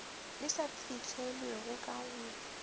di sa fihlelelwego ka go